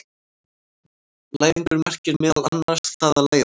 Læðingur merkir meðal annars það að læðast.